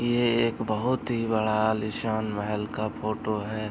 ये एक बहुत ही बड़ा आलिशान महल का फोटो है।